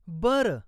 बरं.